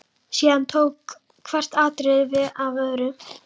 Síðan tók hvert atriðið við af öðru.